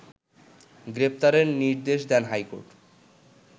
গ্রেপ্তারের নির্দেশ দেন হাইকোর্ট